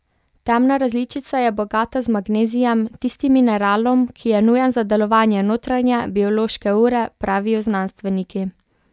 Temna različica je bogata z magnezijem, tistim mineralom, ki je nujen za delovanje notranje, biološke ure, pravijo znanstveniki.